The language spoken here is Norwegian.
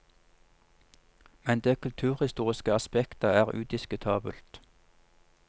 Men det kulturhistoriske aspektet er udiskutabelt.